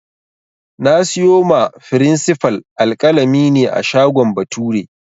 Na siyo wa frinsifal alƙalami ne a shagon Bature